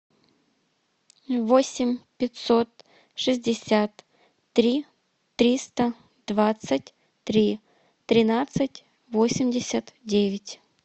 восемь пятьсот шестьдесят три триста двадцать три тринадцать восемьдесят девять